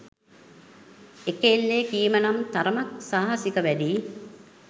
එක එල්ලේ කීම නම් තරමක් සාහසික වැඩියි